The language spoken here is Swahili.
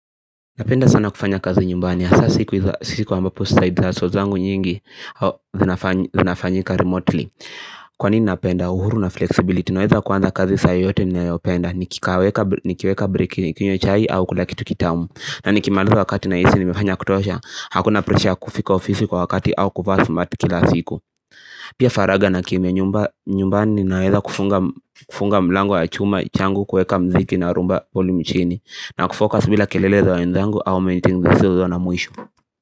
Napenda sana kufanya kazi nyumbani hasa siku ambapo side hustle zangu nyingi zinafanyika remotely Kwani napenda uhuru na flexibility naeza kuanza kazi saa yoyote ninaopenda nikikaweka nikiweka breki nikinywa chai au kula kitu kitamu na nikimaliza wakati nahisi nimefanya ya kutosha hakuna pressure ya kufika ofisi kwa wakati au kuvaa smarti kila siku Pia faragha na kimya nyumbani ninaeza kufunga mlango wa chuma, changu, kuweka muziki na rhumba volume chini na kufocus bila kelele za wenzangu au meetings zisizo na mwisho.